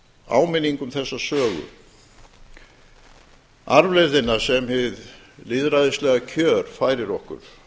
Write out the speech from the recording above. áminning um þessa sögu arfleifðina sem hið lýðræðislega kjör færir okkur